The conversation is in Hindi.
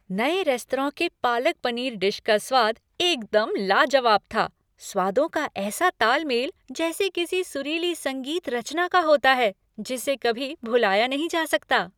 नए रेस्तरां के पालक पनीर डिश का स्वाद एकदम लाजवाब था, स्वादों का ऐसा ताल मेल जैसे किसी सुरीली संगीत रचना का होता है जिसे कभी भुलाया नहीं जा सकता।